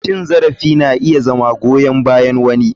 Cin zarafi na iya zama goyan bayan wani.